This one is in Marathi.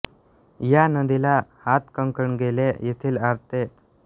या नदीला हातकणंगले येथील आळते टेकडीवरून येणारा आणखी एक महत्त्वाचा प्रवाह कबनूरजवळ मिळतो